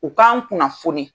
U k'an kunnafoni